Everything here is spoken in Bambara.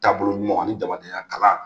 Taaboloɲuman ani jamadenya kalan